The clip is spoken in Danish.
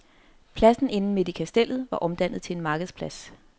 Pladsen inde midt i kastellet var omdannet til en markedsplads.